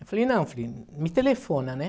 Eu falei, não, filho, me telefona, né?